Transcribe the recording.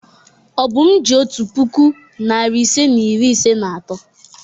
Obum ji otu puku, narị ise na iri ise na atọ.